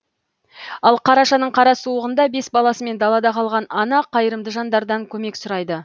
ал қарашаның қара суығында бес баласымен далада қалған ана қайырымды жандардан көмек сұрайды